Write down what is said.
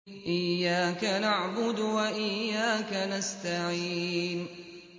إِيَّاكَ نَعْبُدُ وَإِيَّاكَ نَسْتَعِينُ